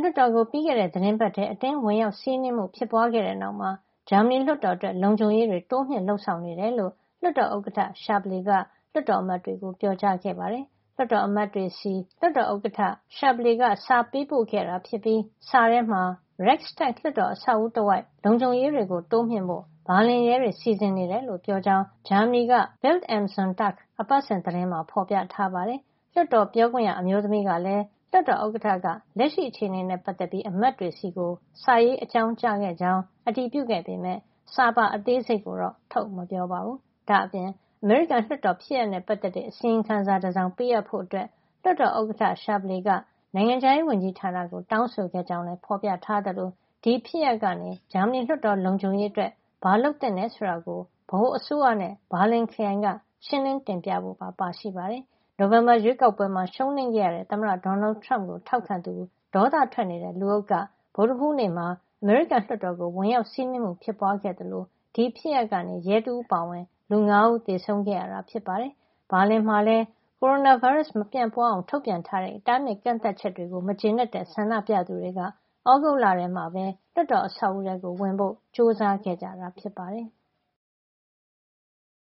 လွှတ်တော်ကို ပြီးခဲ့တဲ့သီတင်းပတ်ထဲ အတင်းဝင်ရောက်စီးနင်းမှု ဖြစ်ပွါးခဲ့တဲ့နောက်မှာ ဂျာမနီလွှတ်တော်အတွက် လုံခြုံရေးတွေ တိုးမြှင့်လုပ်ဆောင်နေကြောင်း လွှတ်တော်ဥက္ကဋ္ဌ Wolfgang Schäuble က လွှတ်တော်အမတ်တွေကို ပြောကြားခဲ့ပါတယ်။ လွှတ်တော်အမတ်တွေဆီ လွှတ်တော်ဥက္ကဋ္ဌ Schäuble က စာပေးပို့ခဲ့တာဖြစ်ပြီး စာထဲမှ Reichstag လွှတ်တော်အဆောက်အဦတဝိုက် လုံခြုံရေးတွေ တိုးမြှင့်ဖို့ ဘာလင်ရဲတွေ စီစဉ်နေတယ်လို့ ပြောကြောင်း ဂျာမနီက Bild am Sonntag အပတ်စဉ်သတင်းမှာ ဖော်ပြထားပါတယ်။ လွှတ်တော်ပြောခွင့်ရ အမျိုးသမီးကလည်း လွှတ်တော်ဥက္ကဋ္ဌက လက်ရှိအခြေနေနဲ့ ပတ်သက်ပြီး အမတ်တွေဆီ စာရေးအကြောင်းကြားခဲ့ကြောင်း အတည်ပြုခဲ့ပေမယ့် စာပါအသေးစိတ်ကိုတော့ ထုတ်မပြောပါဘူး။ ဒါ့အပြင် အမေရိကန်လွှတ်တော်ဖြစ်ရပ်နဲ့ ပတ်သက်တဲ့ အစီရင်ခံစာတစောင် ပေးအပ်ဖို့ လွှတ်တော်ဥက္ကဋ္ဌ Schäuble က နိုင်ငံခြားရေးဝန်ကြီးဌာနကို တောင်းဆိုခဲ့ကြောင်းလည်း ဖော်ပြထားသလို ဒီဖြစ်ရပ်ကနေ ဂျာမနီလွှတ်တော် လုံခြုံရေးအတွက် ဘာလုပ်သင့်တယ်ဆိုတာကို ဗဟိုအစိုးရနဲ့ ဘာလင်ခရိုင်က ရှင်းလင်းတင်ပြဖို့ပါ ပါရှိပါတယ်။ နိုဝင်ဘာရွေးကောက်ပွဲမှာ ရှုံးနိမ့်ခဲ့ရတဲ့ သမ္မတ Donald Trump ကို ထောက်ခံသူ ဒေါသထွက်နေတဲ့ လူအုပ်က ဗုဒ္ဓဟူးနေ့မှာ အမေရိကန်လွှတ်တော်ကို ဝင်ရောက်စီးနင်းမှု ဖြစ်ပွါးခဲ့သလို ဒီဖြစ်ရပ်ကနေ ရဲတဦးအပါအဝင် လူ ၅ ဦး သေဆုံးခဲ့ရတာ ဖြစ်ပါတယ်။ ဘာလင်မှာလည်း ကိုရိုနာဗိုင်းရပ်စ် မပြန့်ပွါးအောင် ထုတ်ပြန်တဲ့ တားမြစ်ကန့်သတ်ချက်တွေကို မကျေနပ်တဲ့ ဆန္ဒပြသူတွေက သြဂုတ်လထဲမှာ လွှတ်တော်အဆောက်အဦထဲဝင်ဖို့ ကြိုစားခဲ့ကြတာ ဖြစ်ပါတယ်။